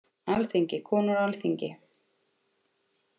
Alþingi- Konur á Alþingi.